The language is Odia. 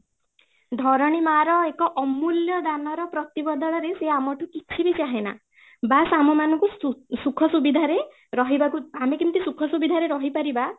ଧରଣୀ ମାଁର ଏକ ଅମୂଲ୍ୟ ଦାନର ପ୍ରତି ବଦଳରେ ସେ ଆମଠୁ କିଛି ବି ଚାହେଁନା ବାସ ଆମ ମାନଙ୍କୁ ସୁଖ ସୁବିଧା ରେ ରହିବାକୁ, ଆମେ କେମିତି ସୁଖ ସୁବିଧା ରେ ରହି ପାରିବା